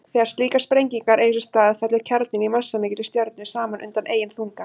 Þegar slíkar sprengingar eiga sér stað fellur kjarninn í massamikilli stjörnu saman undan eigin þunga.